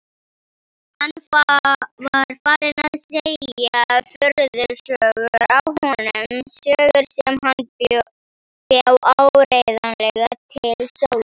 Hann var farinn að segja furðusögur af honum, sögur sem hann bjó áreiðanlega til sjálfur.